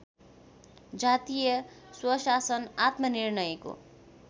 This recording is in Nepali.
जातीय स्वशासन आत्मनिर्णयको